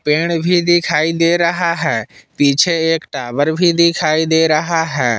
पेड़ भी दिखाई दे रहा है पीछे एक टावर भी दिखाई दे रहा है।